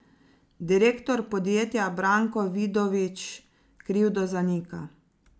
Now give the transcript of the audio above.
Direktor podjetja Branko Vidovič krivdo zanika.